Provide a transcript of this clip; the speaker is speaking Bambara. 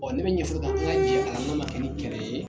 Ɔɔ ne be ka ala jɛn ale la ka ne ye